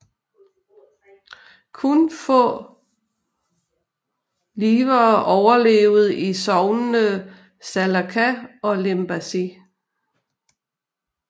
Kun få livere overlevede i sognene Salaca og Limbaži